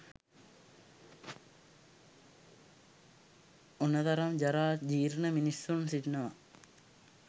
ඔන තරම් ජරා ජීර්ණ මිනිසුන් සිටිනවා.